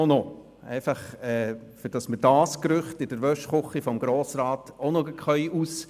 Damit können wir dieses Gerücht in der Waschküche des Grossen Rats auch noch zerstreuen.